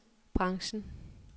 branchen